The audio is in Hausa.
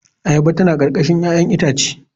Ayaba tana karkashin 'ya'yan itace.